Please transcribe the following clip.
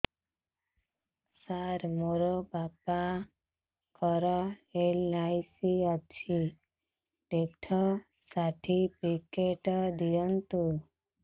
ସାର ମୋର ବାପା ଙ୍କର ଏଲ.ଆଇ.ସି ଅଛି ଡେଥ ସର୍ଟିଫିକେଟ ଦିଅନ୍ତୁ